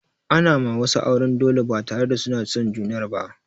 Ana ma wasu auren dole ba tare da suna son junar ba.